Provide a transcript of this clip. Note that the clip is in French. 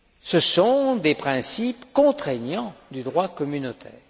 Ce sont des principes contraignants du droit communautaire.